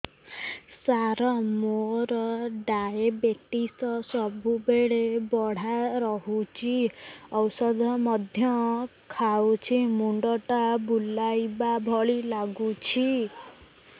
ସାର ମୋର ଡାଏବେଟିସ ସବୁବେଳ ବଢ଼ା ରହୁଛି ଔଷଧ ମଧ୍ୟ ଖାଉଛି ମୁଣ୍ଡ ଟା ବୁଲାଇବା ଭଳି ଲାଗୁଛି